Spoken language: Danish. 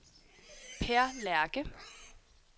Peer Lerche